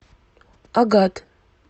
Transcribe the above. агат